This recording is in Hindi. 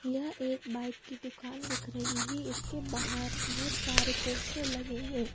यह एक बाइक की दुकान दिख रही है इसके बाहर बहुत सारे पोस्टर लगे हैं।